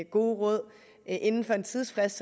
gode råd inden for en tidsfrist